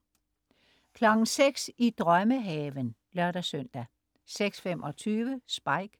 06.00 I drømmehaven (lør-søn) 06.25 Spike